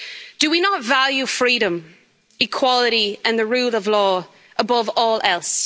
Do we not value freedom, equality and the rule of law above all else?